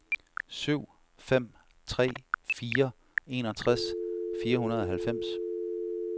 syv fem tre fire enogtres fire hundrede og halvfems